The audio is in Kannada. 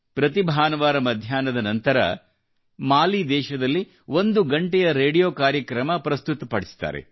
ಪ್ರತಿ ಭಾನುವಾರ ಮಧ್ಯಾಹ್ನದ ನಂತರ ಮಾಲಿ ದೇಶದಲ್ಲಿ ಒಂದು ಗಂಟೆಯ ರೇಡಿಯೋ ಕಾರ್ಯಕ್ರಮ ಪ್ರಸ್ತುತಪಡಿಸುತ್ತಾರೆ